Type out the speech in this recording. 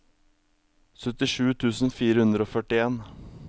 syttisju tusen fire hundre og førtien